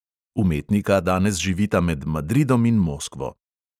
Umetnika danes živita med madridom in moskvo.